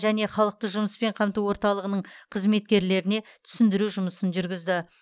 және халықты жұмыспен қамту орталығының қызметкерлеріне түсіндіру жұмысын жүргізді